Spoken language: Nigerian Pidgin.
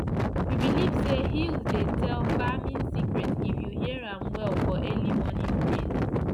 we believe say hills dey tell farming secret if you hear am well for early morning breeze